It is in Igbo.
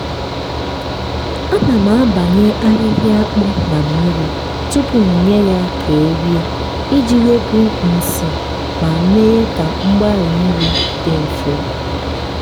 ana m abanya ahịhịa akpụ na mmiri tupu m nye ya ka e rie iji wepụ nsị ma mee ka mgbari nri dị mfe.